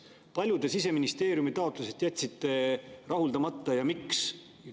Kui palju Siseministeeriumi taotlusest jätsite te rahuldamata ja miks?